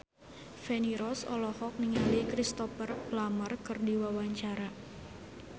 Feni Rose olohok ningali Cristhoper Plumer keur diwawancara